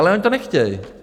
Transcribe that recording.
Ale oni to nechtějí.